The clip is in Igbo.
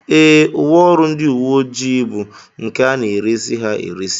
Ee, uwe ọrụ ndị uwe ojii bụ nke a na-eresị ha eresị